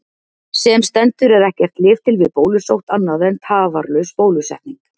Sem stendur er ekkert lyf til við bólusótt annað en tafarlaus bólusetning.